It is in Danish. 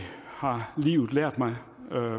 har livet lært mig